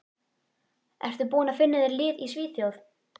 Ertu búinn að finna þér lið í Svíþjóð?